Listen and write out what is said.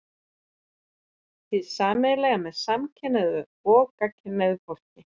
Hið sameiginlega með samkynhneigðu og gagnkynhneigðu fólki